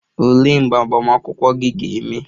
Olee mgbe agbamakwụkwọ gị ga-eme?